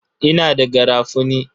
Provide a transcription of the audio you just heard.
Ina da garafuni.